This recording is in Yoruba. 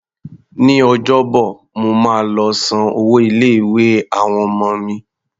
Ní Ọjọ́bọ̀, mo máa lọ san owó ilé-ìwé àwọn ọmọ mi.